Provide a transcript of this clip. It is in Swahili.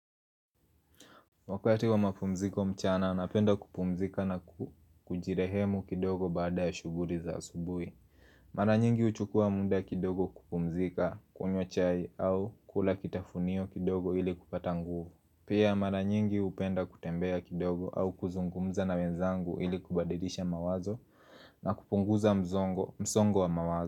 Wakati wa mapumziko mchana, napenda kupumzika na ku kujirehemu kidogo baada ya shughuri za asubuhi. Maranyingi huchukua muda kidogo kupumzika, kunywa chai au kula kitafunio kidogo ili kupata nguvu. Pia mara nyingi hupenda kutembea kidogo au kuzungumza na wenzangu ili kubadilisha mawazo na kupunguza mzongo msongo wa mawazo.